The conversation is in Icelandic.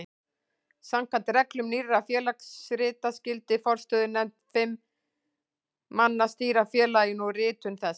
Samkvæmt reglum Nýrra félagsrita skyldi forstöðunefnd fimm manna stýra félaginu og ritum þess.